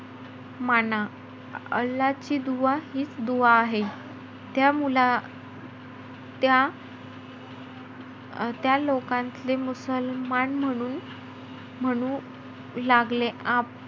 माना. अल्लाची दुवा हीचं दुवा आहे. त्या मुला~ त्या त्या लोकांतले मुसलमान म्हणून लागले~ म्हणू लागले,